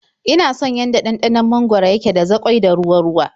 Ina son yanda ɗanɗanon mangwaro yake da zaƙoi da ruwa-ruwa.